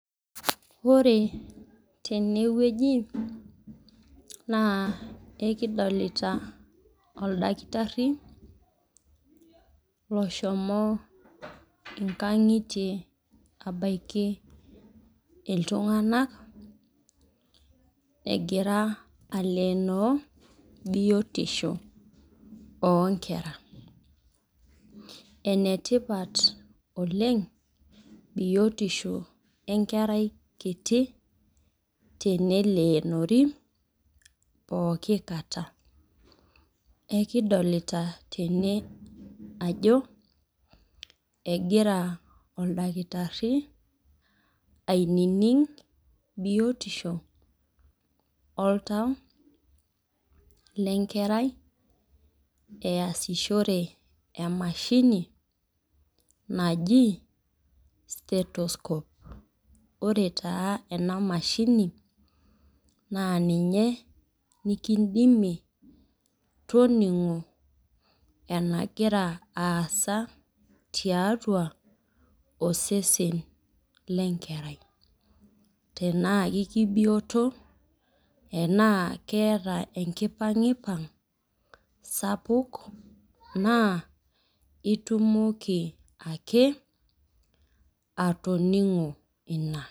Ore tene wueji, naa ekidolita oldakitari loshomo inkang'itie abaiki iltung'ana egira alenoo biotisho oo nkera. Ene tipat oleng' biotisho enkerai kiti teneloonori pooki kata. Ekidolita tene ajo egira oldakitari ainining' biotisho oltau le enkerai easishore emashini naji stethoscope. Ore taa ena mashini, naa ninye nekindimie toning'o enegira aasa tiatua osesen le enkerai, tanaake kebioto tanaa eata enkipang'ipang' sapuk naake itumoki atoning'o ina.